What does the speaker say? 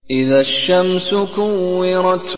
إِذَا الشَّمْسُ كُوِّرَتْ